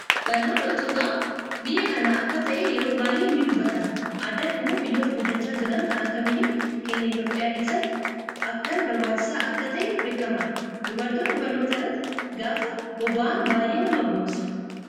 Barnoonni utubaa biyya kana akka ta'e yeroo baayyee ni dubbatama, addatti immoo biyyoota guddachaa jiran kan akka biyya keenya Itoophiyaa keessatti akkan barbaachisaa akka ta'e beekamaadha. Dubartoonni barnoota irrratti gaafa bobba'an baayyee nama boonsa.